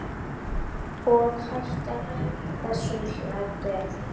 Og hættu þessum hlátri.